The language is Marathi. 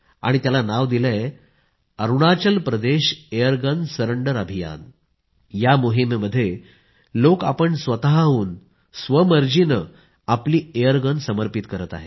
आणि त्याला नाव दिले आहे अरूणाचल प्रदेश एयरगन सरेंडर अभियान या मोहिमेमध्ये लोक आपण स्वतःहून स्वमर्जीनं आपली एयरगन समर्पित करीत आहेत